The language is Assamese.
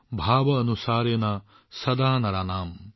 ভৱ অনুসাৰেণ সদা নৰাণাম